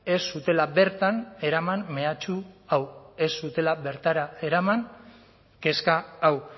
ez zutela bertan eraman mehatxu hau ez zutela bertara eraman kezka hau